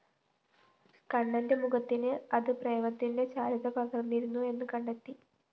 കണ്ണന്റെ മുഖത്തിന് അത ്‌പ്രേമത്തിന്റെ ചാരുത പകര്‍ന്നിരുന്നു എന്നുകണ്ടത്തി